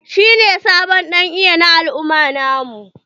Shi ne sabon dan iya na al'umma na mu.